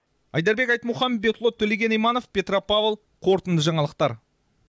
айдарбек айтмұхамбетұлы төлеген иманов петропавл қорытынды жаңалықтар